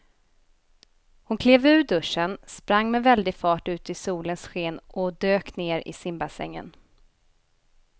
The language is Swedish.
Hon klev ur duschen, sprang med väldig fart ut i solens sken och dök ner i simbassängen.